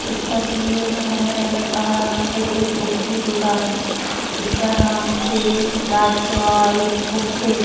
इस तस्वीर में हमें नजर आ रहा है एक बुक की दुकान जिसका नाम श्री राज सवारी बुक है।